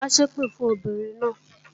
Má ṣèpè fún obìnrin náà!